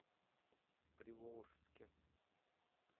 приволжске